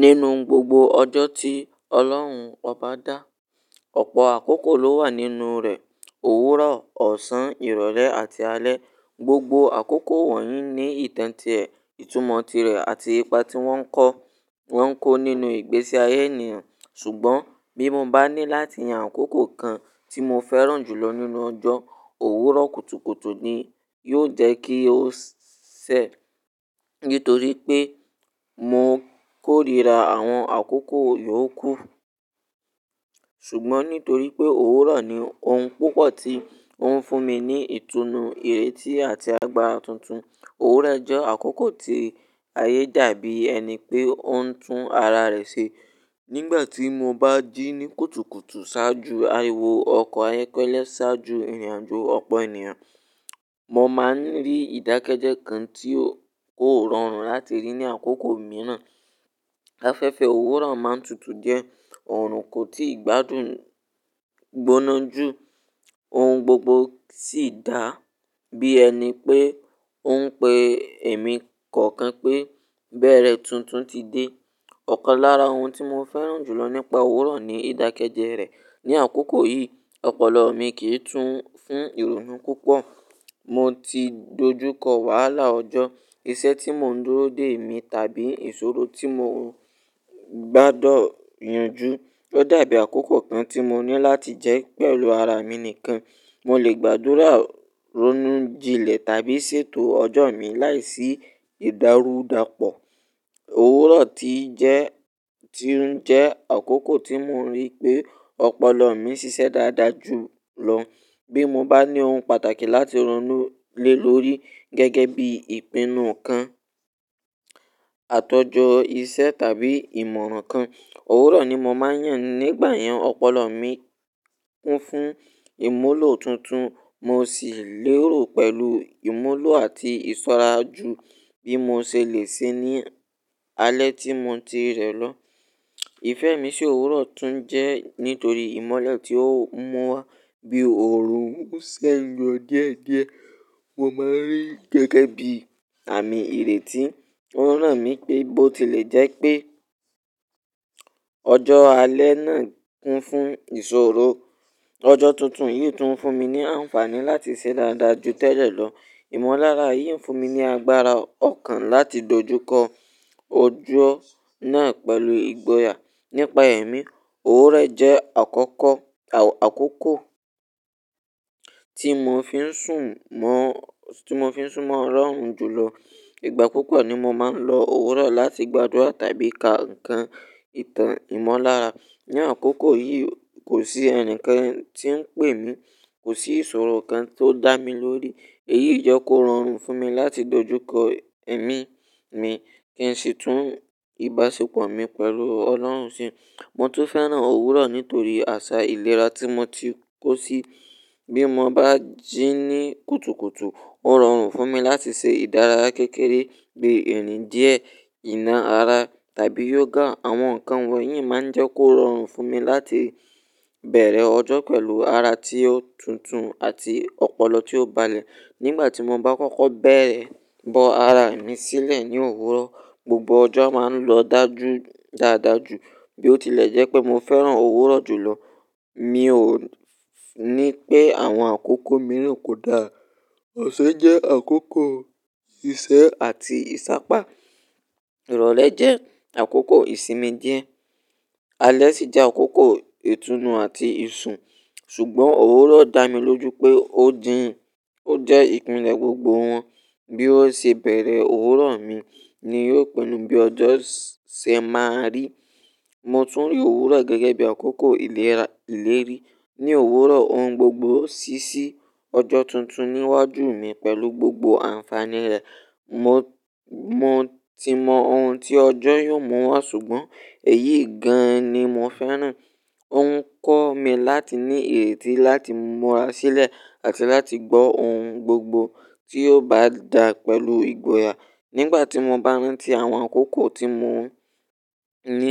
Nínú gbogbo ọjọ́ tí Ọlọ́run ọba dá, ọ̀pọ̀ àkókò ló wà nínú rẹ̀. Òwúrọ̀, ọ̀sán, ìrọ̀lẹ́ àti alẹ́. Gbogbo àkókò wọ̀nyí ní ìtàn tirẹ̀, ìtumọ̀ tirẹ̀ àti ipa tí wọ́n ń kó, wọ́n ń kó nínú ìgbésí ayé ènìyàn. Ṣùgbọ́n bí mo bá ní láti yàn àkókò kan tí mo fẹ́ràn jù lọ nínú ọjọ́, òwúrọ̀ kùtùkùtù ni yóò jẹ́ kí ó ṣẹ. Nítorí pé mo kórìíra àwọn àkókò yòókù. Ṣùgbọ́n nítorí pé òwúrọ̀ ni ohun púpọ̀ tí ó ń fún mi ní ìtùnú, ìrètí àti agbára tuntun. Òwúrọ̀ jẹ́ àkókò tí ayé dàbí ẹni pé ó ń tún ara rẹ̀ ṣe. Nígbà tí mo bá jí ní kùtùkùtù ṣáájú ariwo ọkọ̀ ayọ́kẹ́lẹ́, ṣáájú ìrìnàjò ọ̀pọ̀ ènìyàn, mo máa ń rí ìdákẹ́jẹ́ kan tí kò rọrùn láti rí ní àkókò mìíràn. Afẹ́fẹ́ òwúrọ̀ máa ń tutù díẹ̀, ọ̀rùn kò tíì gbádùn gbóná jù, ohun gbogbo sì dàbí ẹni pé ó ń pe èmi kọ̀ọ̀kan pé, "bẹ̀rẹ̀ tuntun ti dé." Ọ̀kan lára ohun tí mo fẹ́ràn jù lọ nípa òwúrọ̀ ni ìdákẹ́jẹ́ rẹ̀. Ni àkókò yìí, ọpọlọ mi kì í tún fún ìrònú púpọ̀. Mo ti dojúkọ wàhálà ọjọ́, iṣẹ́ tí mò ń dúró dè mí tàbí ìṣòro tí mo gbádọ̀ yanjú. Ó dàbí àkókò kan tí mo ní láti jẹ́ pẹ̀lú ara mi nìkan. Mo lè gbàdúrà, ronú jinlẹ̀ tàbí ṣètò ọjọ́ mi láìsí ìdárúdàpọ̀. Òwúrọ̀ ti jẹ́, ti ń jẹ́ àkókò tí mo rí pé ọpọlọ mi ṣiṣẹ́ dáadáa jù lọ. Bí mo bá ní ohun pàtàkì láti ronú lé lórí gẹ́gẹ́ bí ìpinnu kan, àtọjọ iṣẹ́ tàbí ìmọ̀ràn kan, òwúrọ̀ ni mo máa ń yàn nígbà yẹn. Ọpọlọ mi kún fún ìmúlò tuntun, mo sì lérò pẹ̀lú ìmúlò àti ìsọ́ra ju bí mo ṣe lè ṣe ní alẹ́ tí mo ti rẹ̀ lọ. Ìfẹ́ mi sí òwúrọ̀ tún jẹ́ nítorí ìmọ́lẹ̀ tí ó mú wá. Bí òòrùn ń ṣẹ́ yọ díẹ̀díẹ̀, mo máa ń rí gẹ́gẹ́ bí àmì ìrètí. Òwúrọ̀ ràn mí pé bó ti lè jẹ́ pé ọjọ́ àlẹ́ náà kún fún ìṣòro, ọjọ́ tuntun yìí tún ń fún mi ní àǹfààní láti ṣe dáadáa ju tẹ́lẹ̀ lọ. Ìmọ̀lára yìí ń fún mi ní agbára ọ̀kan láti dojúkọ ojú ọ̀nà pẹ̀lú ìgboyà. Nípa ẹ̀ mí, òwúrọ̀ jẹ́ àkókò, àkókò tí mo fi ń sùn mọ́, tí mo fi ń sùn mọ́ ọ̀lọ̀ run jù lọ. Ìgbà púpọ̀ ni mo máa ń lo òwúrọ̀ láti gbàdúrà tàbí ka nǹkan, ìtàn, ìmọ̀lára. Ni àkókò yìí, kò sí ẹnikẹ́ni tí ń pè mí, kò sí ìṣòro kan tó dá mi lórí. Èyí jẹ́ kó rọrùn fún mi láti dojúkọ ẹ̀mí mi, kí n sì tún ìbáṣepọ̀ mi pẹ̀lú Ọlọ́run ṣe. Mo tún fẹ́ràn òwúrọ̀ nítorí àṣà ìlera tí mo ti kó sí. Bí mo bá jí ní kùtùkùtù, ó rọrùn fún mi láti ṣe ìdárayá kékeré bí irìn díẹ̀, ìna ara tàbí yoga. Àwọn nǹkan wọ̀nyí máa ń jẹ́ kó rọrùn fún mi láti bẹ̀rẹ̀ ọjọ́ pẹ̀lú ara tí ó tuntun àti ọpọlọ tí ó balẹ̀. Nígbà tí mo bá kọ́kọ́ bẹ̀rẹ̀ bọ́ ara mi sílẹ̀ ní òwúrọ̀, gbogbo ọjọ́ máa ń lọ dá ju dáadáa jù. Bí ó tilẹ̀ jẹ́ pé mo fẹ́ràn òwúrọ̀ jù lọ, mi ò ní pé àwọn àkókò mìíràn kò dáa. Ọ̀san jẹ́ àkókò ìṣe àti ìsápá, ìrọ̀lẹ́ jẹ́ àkókò ìsinmi díẹ̀, alẹ́ sì jẹ́ àkókò ìtùnú àti ìsun. Ṣùgbọ́n òwúrọ̀ dá mi lójú pé ó dín, ó jẹ́ ìpìlẹ̀ gbogbo wọn. Bí ó ṣe bẹ̀rẹ̀ òwúrọ̀ mi ni yóò pẹ̀lú bí ọjọ́ ṣẹ́ máa rí. Mo tún rí òwúrọ̀ gẹ́gẹ́ bí àkókò ìlera ìlérí. Ni òwúrọ̀ ohun gbogbo ṣíṣí. Ọjọ́ tuntun níwájú mi pẹ̀lú gbogbo àǹfààní rẹ̀. Mo, mo ti mọ ohun tí ọjọ́ yóò mú wá ṣùgbọ́n èyí gan-an ni mo fẹ́ràn. Ó ń kọ́ mi láti ní ìrètí láti múra sílẹ̀ àti láti gbọ́ ohun gbogbo tí ó bá dà pẹ̀lú ìgboyà. Nígbà tí mo bá ń rí tí àwọn àkókò tí mo ní